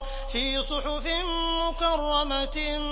فِي صُحُفٍ مُّكَرَّمَةٍ